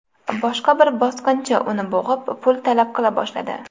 Boshqa bir bosqinchi uni bo‘g‘ib, pul talab qila boshladi.